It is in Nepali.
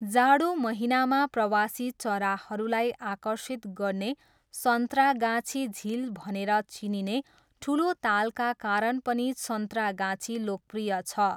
जाडो महिनामा प्रवासी चराहरूलाई आकर्षित गर्ने सन्त्रागाछी झिल भनेर चिनिने ठुलो तालका कारण पनि सन्त्रागाछी लोकप्रिय छ।